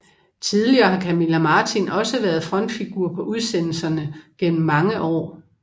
Tidligere har Camilla Martin også været frontfigur på udsendelserne gennem mange år